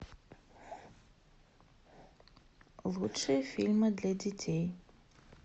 лучшие фильмы для детей